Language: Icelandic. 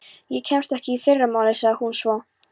Ég kemst ekki í fyrramálið, sagði hún svo.